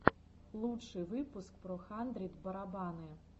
лучший выпуск про хандрид барабаны